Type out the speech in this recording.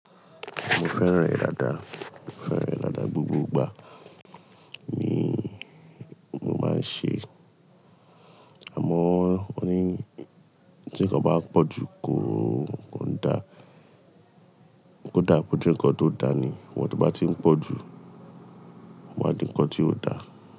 Mo fẹ́ràn rẹ̀ dáadáa, mo fẹ́ràn rẹ̀ dáadáa gbogbo ìgbà mi mo máa ń ṣe, àmọ́ won ni tí nǹkan bá pọ̀ ju kọ́ ò kan dá, kò dáa ko je nǹkan tó dáa ni, ìwọ̀n tó bá ti ń pọ̀ ju, máa di nǹkan tí ò dáa.